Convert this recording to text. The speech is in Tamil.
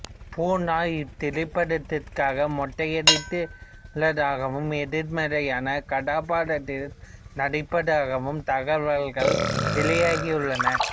பூர்ணா இத்திரைப்படத்திற்காக மொட்டையடித்துள்ளதாகவும் எதிர்மறையான கதாபாத்திரத்தில் நடிப்பதாகவும் தகவல்கள் வெளியாகியுள்ளன